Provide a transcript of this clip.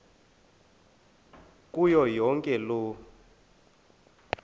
kuyo yonke loo